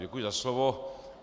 Děkuji za slovo.